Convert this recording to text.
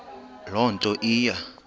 loo nto iya